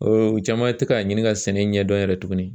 u caman tɛ k'a ɲini ka sɛnɛ ɲɛdɔn yɛrɛ tugunni.